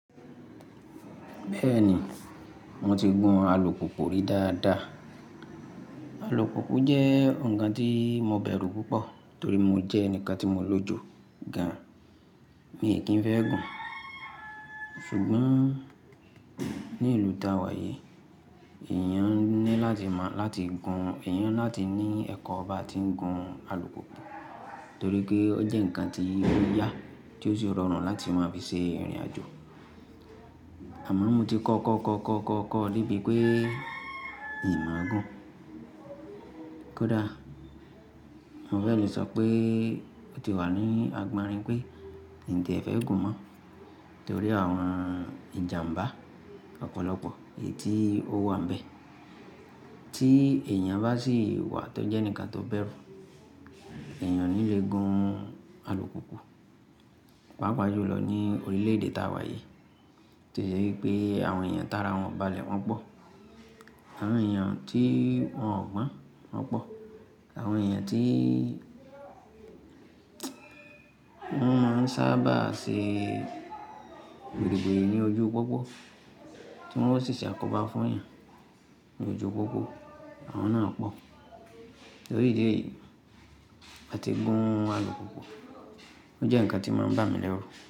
Bẹ́ẹ̀ni, mo ti gun alùpùpù rí dáadáa. Alùpùpù jẹ́ ǹkan tí mo bẹ̀rù púpọ̀ torí mo jẹ́ ẹnìkan tí mo lòjo gan-an, mi kí ń fẹ́ gùn. Ṣùgbọ́n ní ìlú ta wà yìí, èèyàn ní láti mọ láti gun, èèyàn láti ní ẹ̀kọ́ ba ti ń gun alùpùpù torí pé ó jẹ́ ǹkan tí ó yà, tí ó sì rọrùn láti máa fi ṣe ìrìnàjò. Àmọ́ mo ti kọ́ kọ́ kọ́ kọ́ kọ́ kọ́ de bií pé n máa gùn. Kódà mo fẹ́ le sọ pé ó ti wà ní agbárin pé ǹtí ẹ fẹ́ gùn mọ́ torí àwọn ìjàmbá ọ̀pọ̀lọpọ̀ èyí tí ó wà ń bẹ. Tí èèyàn bá sì wà tó jẹ́ ẹnìkan tó bẹ̀rù, èèyàn o ní lè gun alùpùpù. Pápa jù lọ ní orílẹ̀-èdè ta wà yìí to se wi pé àwọn èèyàn tara wọn o ba lẹ̀ wọn pọ̀. Àwọn èèyàn tí wọ́n ò gbọ́n wọn pọ̀. Àwọn èèyàn tí wọ́n máa ń sábà ṣe wiriwiri ní ojú pópó tí wọ́n ó ṣì ṣe àkóbá fún èèyàn ní ojú pópó, àwọn náà pọ̀. Torí ìdí èyí, láti gun alùpùpù ó jẹ́ ǹkan tí máa ń bà mí lẹ́rù.